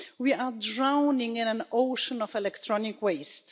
We are drowning in an ocean of electronic waste.